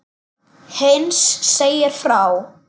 Heinz segir svo frá: